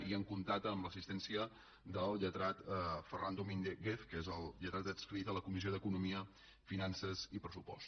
i hem comptat amb l’assistència del lletrat ferran domínguez que és el lletrat adscrit a la comissió d’economia finances i pressupost